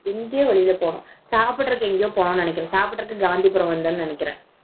எங்க சாப்பிடறதுக்கு எங்கேயோ போனோம் சாப்பிடுவதற்கு எங்கேயோ போகணும்னு நினைக்கிறேன் காந்திபுரம் வந்தானு நினைக்கிறேன்